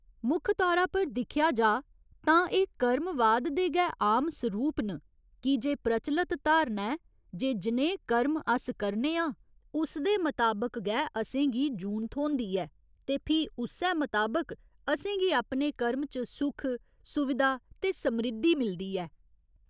मुक्ख तौरा पर दिक्खेआ जाऽ तां एह् कर्मवाद दे गै आम सरूप न, कीजे प्रचलत धारणा ऐ जे जनेह् कर्म अस करने आं उसदे मताबक गै असेंगी जून थ्होंदी ऐ ते फ्ही उस्सै मताबक असें गी अपने कर्म च सुख, सुविधा ते समृद्धि मिलदी ऐ।